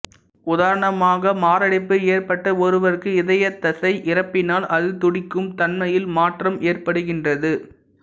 உதாரணமாக மாரடைப்பு ஏற்பட்ட ஒருவருக்கு இதயத் தசை இறப்பினால் அது துடிக்கும் தன்மையில் மாற்றம் ஏற்படுகின்றது